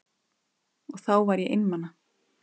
Og þá var ég einmana.